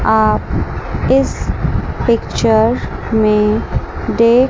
आप इस पिक्चर में देख--